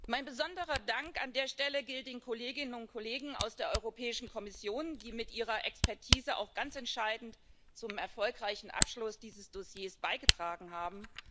Mein besonderer Dank an der Stelle gilt den Kolleginnen und Kollegen aus der Europäischen Kommission, die mit ihrer Expertise auch ganz entscheidend zum erfolgreichen Abschluss dieses Dossiers beigetragen haben.